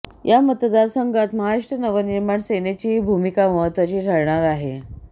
या मतदारसंघात महाराष्ट्र नवनिर्माण सेनेचीही भूमिका महत्त्वाची ठरणार आहे